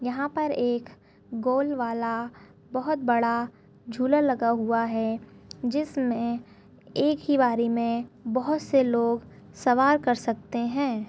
यहाँ पर एक गोल वाला बोहोत बड़ा झूला लगा हुआ है जिसमें एक ही बारी में बहोत से लोग सवार कर सकते हैं।